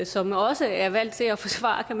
som også er valgt til at forsvare